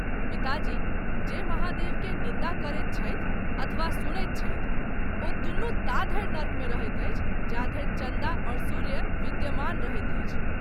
पिताजी ! जे महादेव के निन्दा करैत छथि अथबा सुनैत अछि , ओ दुनू ता धरि नरक मे रहैत अछि जा धरि चन्दा और सूर्य विद्यमान रहैत अछि।